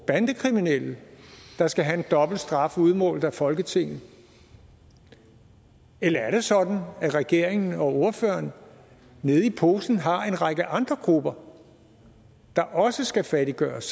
bandekriminelle der skal have en dobbelt straf udmålt af folketinget eller er det sådan at regeringen og ordføreren nede i posen har en række andre grupper der også skal fattiggøres